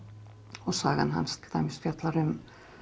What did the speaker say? og sagan hans til dæmis fjallar um